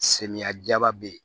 Samiyɛ jaba be ye